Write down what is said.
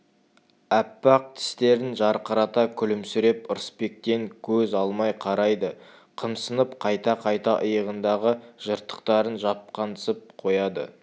аппақ тістерін жарқырата күлімсіреп ырысбектен көз алмай қарайды қымсынып қайта-қайта иығындағы жыртықтарын жапқансып қояды